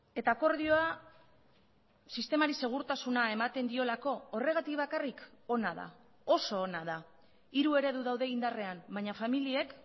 eta akordioa sistemari segurtasuna ematen diolako horregatik bakarrik ona da oso ona da hiru eredu daude indarrean baina familiek